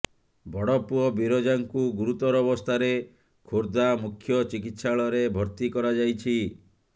ବଡ଼ ପୁଅ ବିରଜାଙ୍କୁ ଗୁରୁତର ଅବସ୍ଥାରେ ଖୋର୍ଦ୍ଧା ମୁଖ୍ୟ ଚିକିତ୍ସାଳୟରେ ଭର୍ତ୍ତି କରାଯାଇଛି